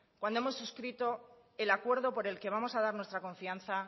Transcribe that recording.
cuando hemos suscrito el acuerdo por el que vamos a dar nuestra confianza